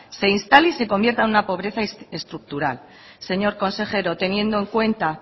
se instale y se convierta en una pobreza estructural señor consejero teniendo en cuenta